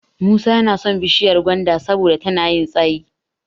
Musa yana son bishiyar gwanda saboda tana yin tsayi.